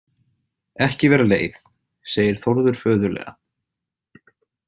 Ekki vera leið, segir Þórður föðurlega.